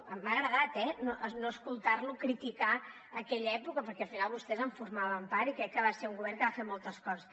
m’ha agradat eh no escoltar lo criticar aquella època perquè al final vostès en formaven part i crec que va ser un govern que va fer moltes coses